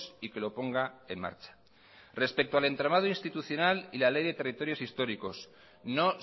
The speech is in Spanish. y que lo ponga en marcha respecto al entramado institucional y la ley de territorios históricos no